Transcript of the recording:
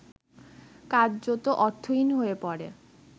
কার্যত অর্থহীন হয়ে পড়ে